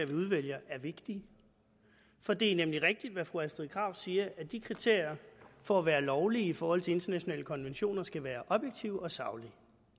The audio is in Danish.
vi udvælger er vigtige for det er nemlig rigtigt hvad fru astrid krag siger at de kriterier for at være lovlige i forhold til internationale konventioner skal være objektive og saglige